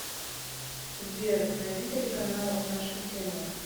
сбер найди телеканал наша тема